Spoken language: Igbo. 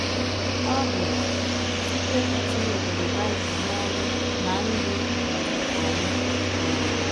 Ọ bụ site n’itinye ụkpụrụ Bible n’ọrụ ná ndụ um anyị. um